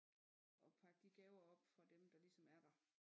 At pakke de gaver op fra dem der ligesom er der